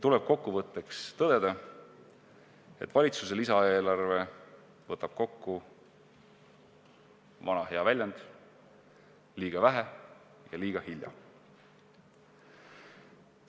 Kokkuvõtteks tuleb tõdeda, et valitsuse lisaeelarve võtab kokku vana hea väljend "liiga vähe ja liiga hilja".